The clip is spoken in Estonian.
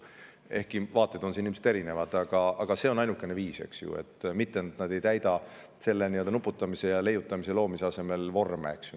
Ehkki vaated on siin ilmselt erinevad, aga see on ainukene, et keegi ei pea nuputamise, leiutamise ja loomise asemel täitma mingeid vorme, eks ju.